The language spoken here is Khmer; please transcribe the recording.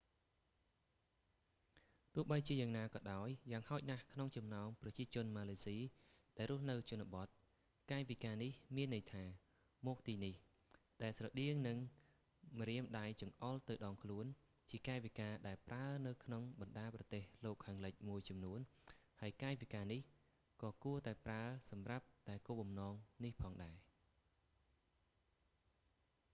ទោះបីជាយ៉ាងណាក៏ដោយ យ៉ាងហោចណាស់ក្នុងចំណោមប្រជាជនម៉ាឡេស៊ីដែលរស់នៅជនបទ កាយវិការនេះមានន័យថា មកទីនេះ ដែលស្រដៀងនឹងម្រាមដៃចង្អុលទៅដងខ្លួន ជាកាយវិការដែលប្រើនៅក្នុងបណ្តាប្រទេសលោកខាងលិចមួយចំនួន ហើយកាយវិការនេះក៏គួរតែប្រើសម្រាប់តែគោលបំណងនេះផងដែរ